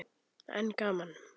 En gaman!